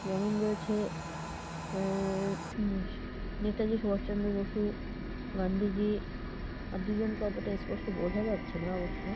যেমন রয়েছে আ-আ-আ উঁ সি নেতাজি সুভাষ চন্দ্র বসু গান্ধীজি আর দুজনকে অতটা স্পষ্ট বোঝা যাচ্ছে না অবশ্য--